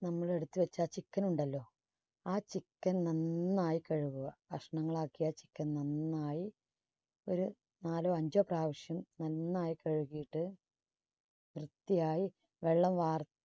നമ്മൾ എടുത്ത് വച്ച ആ chicken ഉണ്ടല്ലോ ആ chicken നന്നായി കഴുകുക. കഷ്ണങ്ങൾ ആക്കിയ chicken നന്നായി ഒരു നാലോ അഞ്ചോ പ്രാവശ്യം നന്നായി കഴുകിയിട്ട് വൃത്തിയായി വെള്ളം വാർ